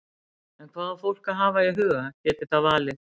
En hvað á fólk að hafa í huga geti það valið?